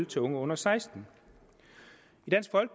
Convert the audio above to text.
til unge under seksten